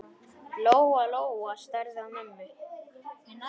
Lóa-Lóa starði á mömmu.